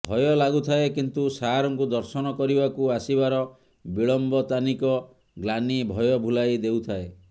ଭୟ ଲାଗୁଥାଏ କିନ୍ତୁ ସାରଙ୍କୁ ଦର୍ଶନ କରିବାକୁ ଆସିବାର ବିଳମ୍ବତାନିତ ଗ୍ଲାନି ଭୟ ଭୁଲାଇ ଦେଉଥାଏ